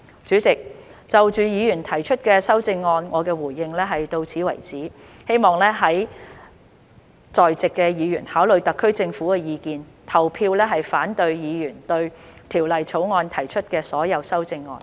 主席，就議員提出的修正案，我的回應到此為止，希望在席議員考慮特區政府的意見，投票反對議員對《條例草案》提出的所有修正案。